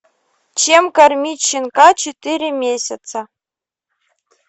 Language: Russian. чем кормить щенка четыре месяца